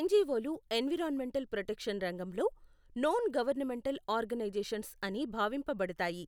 ఎన్జివోలు environmental protection రంగంలో, non governmental organisations అని భావింపబడతాయి.